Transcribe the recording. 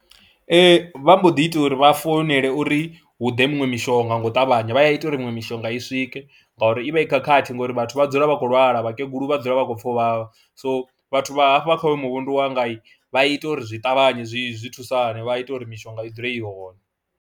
Ee, vha mbo ḓi ita uri vha founele uri hu ḓe muṅwe mishonga nga u ṱavhanya, vha ya ita uri miṅwe mishonga i swike ngauri i vha i khakhathi ngori vhathu vha dzula vha khou lwala vhakegulu vha dzula vha khou pfha uv havha, so vhathu vha hafha kha hoyu muvhundu wanga vha i ita uri zwi ṱavhanye zwi zwi thusane vha ita uri mishonga i dzule i hone.